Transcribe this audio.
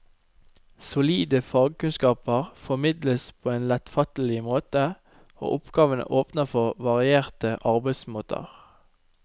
Solide fagkunnskaper formidles på en lettfattelig måte, og oppgavene åpner for varierte arbeidsmåter.